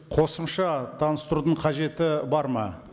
қосымша таныстырудың қажеті бар ма